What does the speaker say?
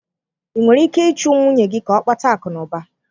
Ị nwere ike ịchụ nwunye gị ka ọ kpata akụnụba?